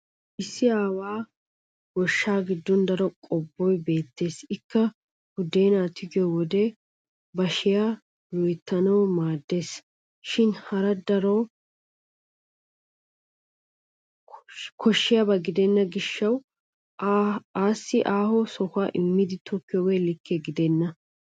Issi aawo goshshaa giddon daro qobboy beettes ikka buddeenaa tigiyo wode bashiya loyittanawu maaddes. Shin haro darotoo koshshiyaba gidenna gishshawu assi aaho sohuwan immidi tokkiyoogee likke gidenna.